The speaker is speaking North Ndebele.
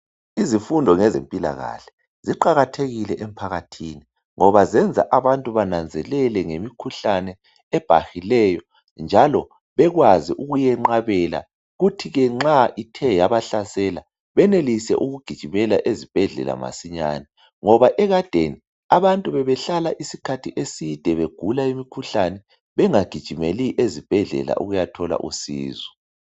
Izifundo zezempilakahle ziqakathekile emphakathini ngoba zenza abantu bananzelele ngemikhuhlane ebhahileyo njalo bekwazi ukuyenqabela kuthi ke nxa ithe yabahlasela benelise ukugijimela ezibhedlela masinyane ngoba ekadeni abantu bebehlala isikhathi eside begula imikhuhlane bengagijimeli ezibhedlela ukuyathola usizo .